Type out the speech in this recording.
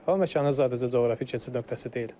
Hava məkanı sadəcə coğrafi keçid nöqtəsi deyil.